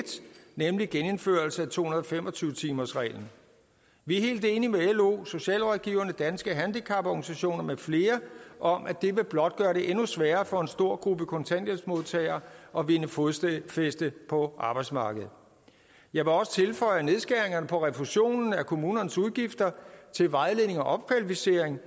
nemlig genindførelse af to hundrede og fem og tyve timersreglen vi er helt enige med lo socialrådgiverne danske handicaporganisationer med flere om at det blot vil gøre det endnu sværere for en stor gruppe kontanthjælpsmodtagere at vinde fodfæste på arbejdsmarkedet jeg vil også tilføje at nedskæringerne på refusionen af kommunernes udgifter til vejledning og opkvalificering